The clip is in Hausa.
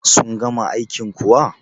sun gama aikin kuwa?